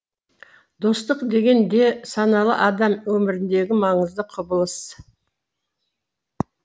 достық деген де саналы адам өміріндегі маңызды құбылыс